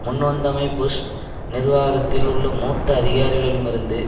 முன்வந்தமை Bush நிர்வாகத்தில் உள்ள மூத்த அதிகாரிகளிலமிருந்து